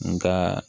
N ka